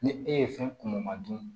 Ni e ye fɛn kunmɔ dun